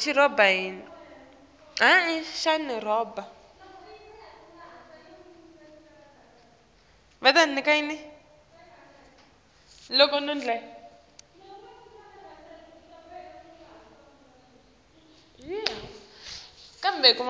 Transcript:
kulabamyama